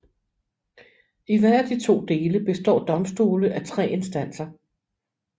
I hver af de to dele består domstole af tre instanser